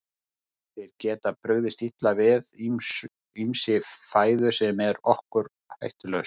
Þeir geta brugðist illa við ýmissi fæðu sem er okkur hættulaus.